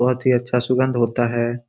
बहोत ही अच्छा सुगंध होता है।